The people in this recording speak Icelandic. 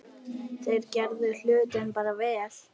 Þeir gerðu hlutina bara vel.